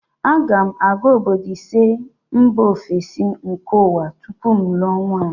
A ga m aga obodo ise mba ofesi nke ụwa tupu m lụọ nwunye